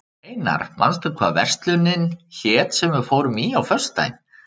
Einar, manstu hvað verslunin hét sem við fórum í á föstudaginn?